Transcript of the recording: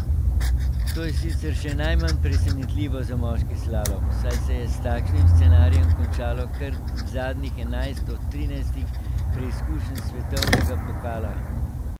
To je sicer še najmanj presenetljivo za moški slalom, saj se je s takšnim scenarijem končalo kar zadnjih enajst od trinajstih preizkušenj svetovnega pokala.